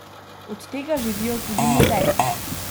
Od tega živijo tudi muzeji.